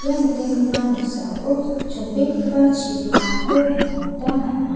ia nikenggipa noksao chonbegipa chibimako nikna gita man·a.